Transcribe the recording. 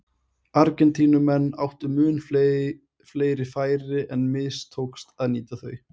Argentínumenn áttu mun fleiri færi en mistókst að nýta þau.